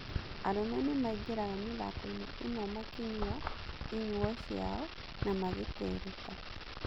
Arũme nĩmaingĩraga mĩthakoinĩ ĩno makĩnyua inyuo ciao na magĩtereta.